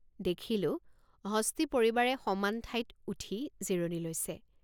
দেখিলোঁ হস্তী পৰিবাৰে সমান ঠাইত উঠি জিৰণি লৈছে।